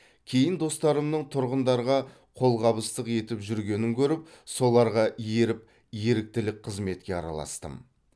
кейін достарымның тұрғындарға қолғабыстық етіп жүргенін көріп соларға еріп еріктілік қызметке араластым